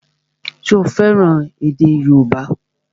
Ṣé o fẹ́ràn èdè yóòbá?